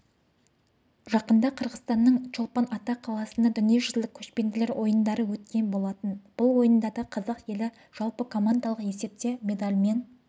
жақында қырғызстанның чолпан-ата қаласында дүниежүзілік көшпенділер ойындары өткен болатын бұл ойындарда қазақ елі жалпыкомандалық есепте медальмен